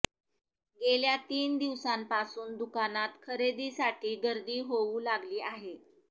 गेल्या तीन दिवसापासून दुकानात खरेदीसाठी गर्दी होऊ लागली आहे